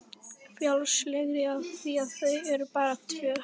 Frjálslegri af því að þau eru bara tvö.